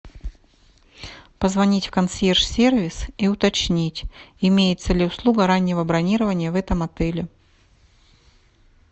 позвонить в консьерж сервис и уточнить имеется ли услуга раннего бронирования в этом отеле